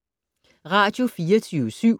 Radio24syv